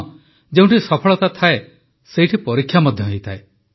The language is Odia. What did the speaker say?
ହଁ ଯେଉଁଠି ସଫଳତା ଥାଏ ସେଇଠି ପରୀକ୍ଷା ମଧ୍ୟ ହୋଇଥାଏ